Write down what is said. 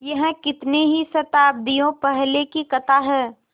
यह कितनी ही शताब्दियों पहले की कथा है